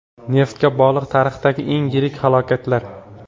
Neftga bog‘liq tarixdagi eng yirik falokatlar.